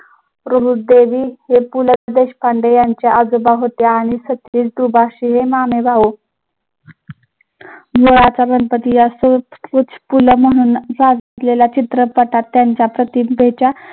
हे पु ल देशपांडे यांचे आजोबा होते आणि गुळाचा गणपती या गेल्या चित्रपटात त्यांच्या